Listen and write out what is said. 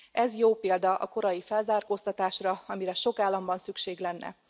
Ez jó példa a korai felzárkóztatásra, amire sok államban szükség lenne.